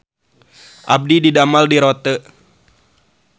Abdi didamel di Rote